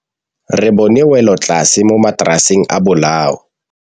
Re bone wêlôtlasê mo mataraseng a bolaô.